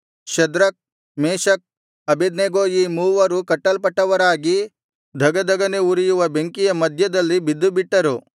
Shadrach Meshach Abednego ಈ ಮೂವರು ಕಟ್ಟಲ್ಪಟ್ಟವರಾಗಿ ಧಗಧಗನೆ ಉರಿಯುವ ಬೆಂಕಿಯ ಮಧ್ಯದಲ್ಲಿ ಬಿದ್ದುಬಿಟ್ಟರು